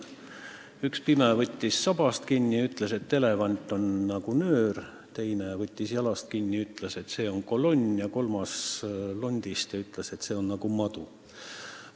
Üks pime võttis sabast kinni ja ütles, et elevant on nagu nöör, teine võttis jalast kinni ja ütles, et elevant on nagu kolonn, kolmas võttis kinni londist ja ütles, et elevant on nagu madu.